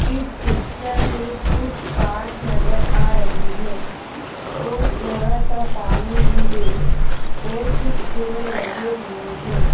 इस पिक्चर में कुछ कार्स नजर आ रही हैंऔर थोड़ा सा पानी भी है और कुछ पेड़ लगे हुए हैं।